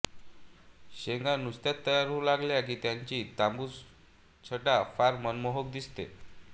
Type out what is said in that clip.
शेंगा नुकत्याच तयार होऊ लागल्या की त्यांची तांबूस छटा फार मनमोहक दिसते